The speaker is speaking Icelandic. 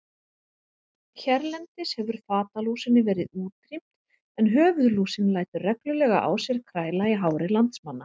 Hérlendis hefur fatalúsinni verið útrýmt en höfuðlúsin lætur reglulega á sér kræla í hári landsmanna.